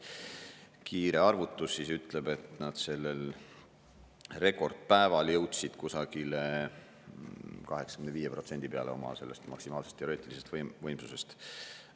Kiire arvutus ütleb, et nad sellel rekordpäeval jõudsid kusagile 85% peale oma sellest maksimaalsest teoreetiliselt võimsusest.